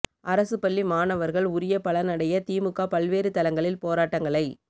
அரசுப்பள்ளிமாணவர்கள் உரிய பலன் அடைய திமுக பல்வேறு தளங்களில் போராட்டங்களை